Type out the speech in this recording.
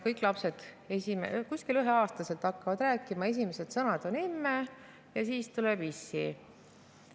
Kõik lapsed kuskil üheaastaselt hakkavad rääkima, esimene sõna on "emme" ja siis tuleb "issi".